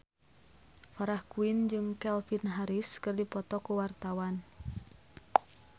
Farah Quinn jeung Calvin Harris keur dipoto ku wartawan